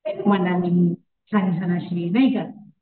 छान छान अशी नाही का,